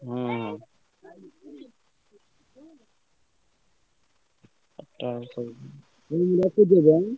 ହୁଁ ଚାରିଟା ବେଳେ ସବୁ ହଉ ମୁଁ ରଖୁଛି ତାହେଲେ?